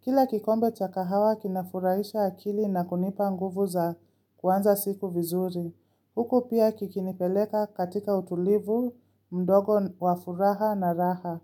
Kila kikombe cha kahawa kinafurahisha akili na kunipa nguvu za kuanza siku vizuri. Huku pia kikinipeleka katika utulivu mdogo wa furaha na raha.